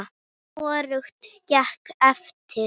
Hvorugt gekk eftir.